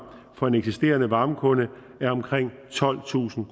for en eksisterende varmekunde er omkring tolvtusind